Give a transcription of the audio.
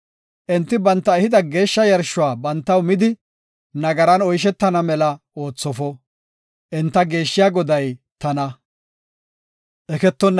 Enti banta ehida geeshsha yarshuwa bantaw midi nagaran oyshetana mela oothofo. Enta geeshshiya Goday tana.”